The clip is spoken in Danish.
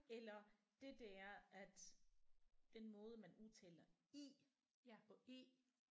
Eller det der at den måde man udtaler I og Æ